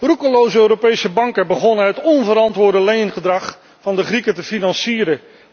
Roekeloze Europese banken begonnen het onverantwoorde leengedrag van de Grieken te financieren.